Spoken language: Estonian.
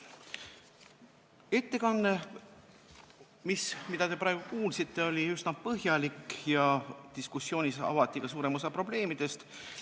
Ettekanne, mida te praegu kuulsite, oli üsna põhjalik ja diskussioonis avati ka suurem osa probleemidest.